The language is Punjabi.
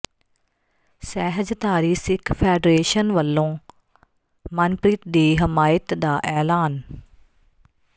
ਸਹਿਜਧਾਰੀ ਸਿੱਖ ਫੈਡਰੇਸ਼ਨ ਵੱਲੋਂ ਮਨਪ੍ਰੀਤ ਦੀ ਹਮਾਇਤ ਦਾ ਐਲਾਨ